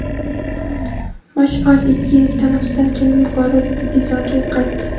"Mash’al" ikki yillik tanaffusdan keyin yuqori divizionga qaytdi.